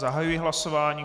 Zahajuji hlasování.